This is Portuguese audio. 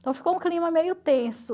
Então ficou um clima meio tenso.